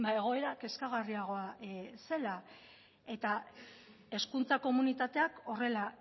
egoera kezkagarriagoa zela eta hezkuntza komunitateak horrela